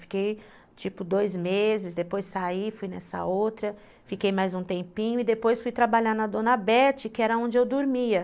Fiquei, tipo, dois meses, depois saí, fui nessa outra, fiquei mais um tempinho e depois fui trabalhar na dona Bete, que era onde eu dormia.